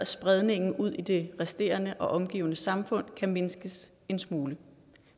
spredningen ud i det resterende og omgivende samfund kan mindskes en smule